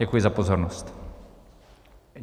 Děkuji za pozornost.